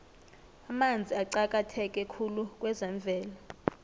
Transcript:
amanzi aqakatheke khulu kwezemvelo